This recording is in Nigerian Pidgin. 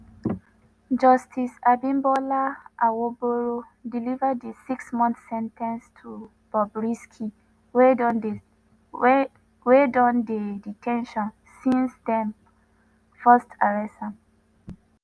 justice abimbola awogboro deliver di six-month sen ten ce to ‘bobrisky’ wey don dey de ten tion since dem first arrest am.